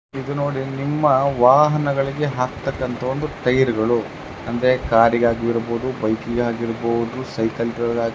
ಇದು ನೋಡಿ ನಿಮ್ಮ ವಾಹನಗಳಿಗೆ ಹಾಕ್ತಕ್ಕಂತ ಒಂದು ಟೈರ್ಗಳು ಅಂದ್ರೆ ಕಾರ್ಗಾಗಿರ್ಬಹುದು ಬೈಕ್ ಗಾಗಿರಬಹುದು ಸೈಕ್ಲಗಳ್ಗಗಿ